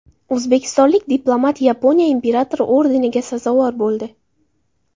O‘zbekistonlik diplomat Yaponiya Imperatori ordeniga sazovor bo‘ldi.